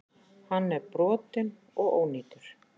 Hann er brotinn og ónýtur.